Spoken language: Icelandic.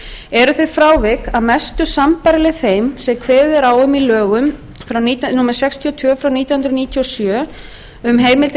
eru þau frávik að mestu leyti sambærileg þeim sem kveðið er á um í lögum númer sextíu og tvö nítján hundruð níutíu og sjö um heimild til